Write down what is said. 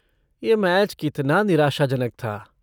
यह मैच कितना निराशाजनक था।